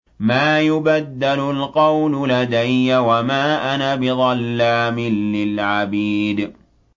مَا يُبَدَّلُ الْقَوْلُ لَدَيَّ وَمَا أَنَا بِظَلَّامٍ لِّلْعَبِيدِ